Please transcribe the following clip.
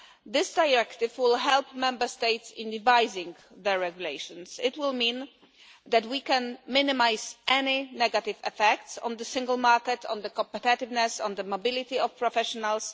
This directive will help Member States with devising their regulations. It will mean that we can minimise any negative effects on the single market, on competitiveness or on the mobility of professionals.